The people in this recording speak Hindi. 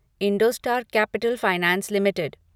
Indostar capital finance limited